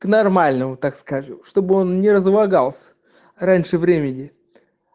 к нормальному так скажу чтобы он не разлагался раньше времени